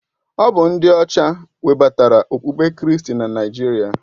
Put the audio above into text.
Ọ bụ ndị ọcha webatara okpukpe kristi na Naịjirịa.